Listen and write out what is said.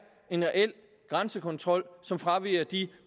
en reel grænsekontrol som fraviger de